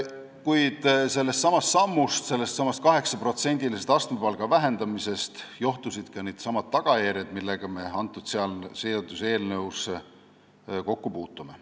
Kuid sellest sammust, sellestsamast 8%-lisest astmepalga vähendamisest johtusidki need tagajärjed, millega me selles seaduseelnõus kokku puutume.